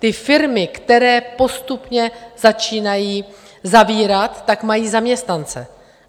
Ty firmy, které postupně začínají zavírat, tak mají zaměstnance.